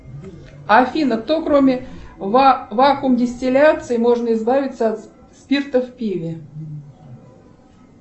афина кто кроме вакумдистиляции можно избавиться от спирта в пиве